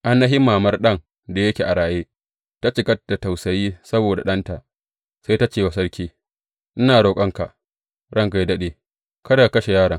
Ainihin mamar ɗan da yake a raye ta cika da tausayi saboda ɗanta, sai ta ce wa sarki, Ina roƙonka, ranka yă daɗe, kada ka kashe yaron!